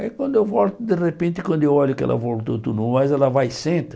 Aí quando eu volto, de repente, quando eu olho que ela voltou tudo mais, ela vai e senta.